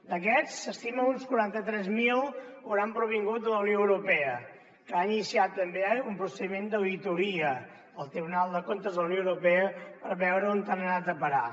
d’aquests s’estima que uns quaranta tres mil hauran provingut de la unió europea que ha iniciat també un procediment d’auditoria el tribunal de comptes de la unió europea per veure on han anat a parar